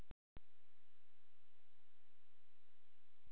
En satt er það, sjaldan spillir það glöðu geði.